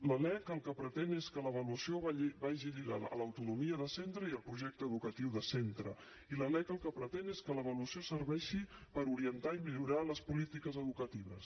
la lec el que pretén és que l’avaluació vagi lligada a l’autonomia de centre i al projecte educatiu de centre i la lec el que pretén és que l’avaluació serveixi per orientar i millorar les polítiques educatives